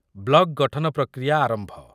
block ଗଠନ ପ୍ରକ୍ରିୟା ଆରମ୍ଭ